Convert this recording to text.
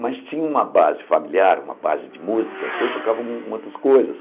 Mas tinha uma base familiar, uma base de música, que eu tocava uma umas outras coisas.